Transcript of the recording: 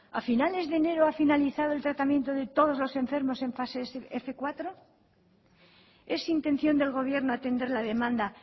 a finales de enero ha finalizado el tratamiento de todos los enfermos en fase fmenos cuatro es intención del gobierno atender la demanda